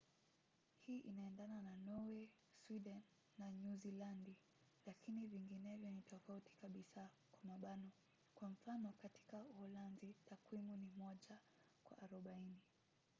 hii inaendana na norway sweden na nyuzilandi lakini vinginevyo ni tofauti kabisa kwa mfano katika uholanzi takwimu ni moja kwa arobaini